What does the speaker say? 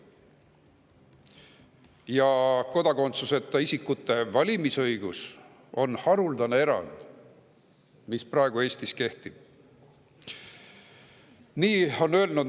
Ja kodakondsuseta isikute valimisõigus, mis praegu Eestis kehtib, on haruldane erand.